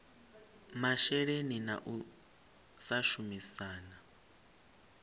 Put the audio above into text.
masheleni na u sa shumisana